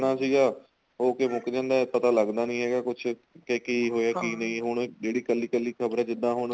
ਸੀਗਾ ਹੋ ਕੇ ਮੁੱਕ ਜਾਂਦਾ ਪਤਾ ਲੱਗਦਾ ਨੀਂ ਹੈਗਾ ਕੁੱਝ ਕੇ ਕੀ ਹੋਇਆ ਕੀ ਨਹੀਂ ਹੁਣ ਜਿਹੜੀ ਕੱਲੀ ਕੱਲੀ ਖਬਰ ਜਿੱਦਾਂ ਹੁਣ